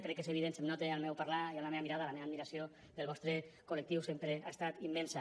crec que és evident se’m nota al meu parlar i en la meva mirada la meva admiració pel vostre col·lectiu sempre ha estat immensa